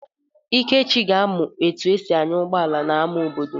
Ikechi ga-amụ etu esi anya ụgbọala n'amá obodo.